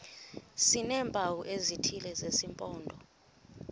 sineempawu ezithile zesimpondo